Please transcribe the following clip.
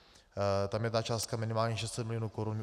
Tam je ta částka minimálně 600 mil. korun.